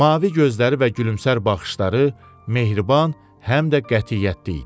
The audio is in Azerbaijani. Mavi gözləri və gülümsər baxışları mehriban, həm də qətiyyətli idi.